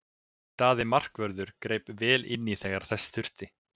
Daði markvörður greip vel inní þegar þess þurfti.